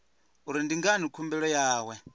uri ndi ngani khumbelo yawe